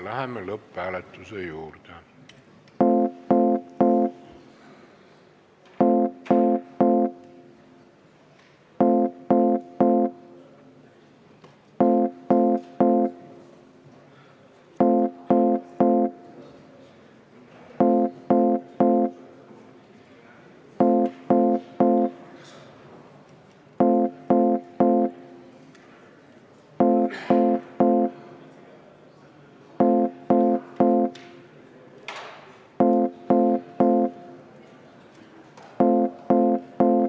Läheme lõpphääletuse juurde.